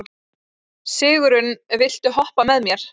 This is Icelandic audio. Sigurunn, viltu hoppa með mér?